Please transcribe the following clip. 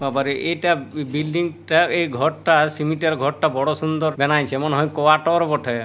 বাবারে এটা বি বিল্ডিং টা এই ঘরটা সিমেন্ট ঘরটা বড় সুন্দর বেনাইছে মনে হয় কোয়াটর বটে।